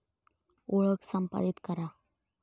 ओळख संपादीत करा